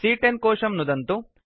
सी॰॰10 कोशं नुदन्तु